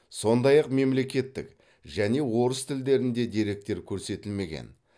сондай ақ мемлекеттік және орыс тілдерінде деректер көрсетілмеген